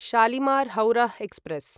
शालिमार् हौरः एक्स्प्रेस्